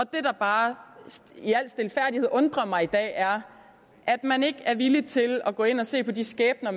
det der bare i al stilfærdighed undrer mig i dag er at man ikke er villig til at gå ind og se på de skæbner